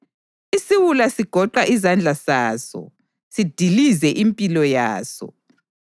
Isiwula sigoqa izandla zaso sidilize impilo yaso.